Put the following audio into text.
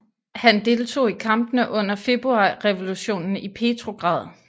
Han deltog i kampene under februarrevolutionen i Petrograd